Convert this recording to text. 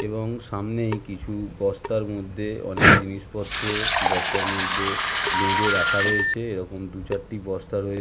এবং সামনেই কিছু বস্তার মধ্যে অনেক জিনিসপত্র বস্তার মধ্যে বেঁধে রাখা রয়েছে এইরকম দু চারটি বস্তা রয়ে--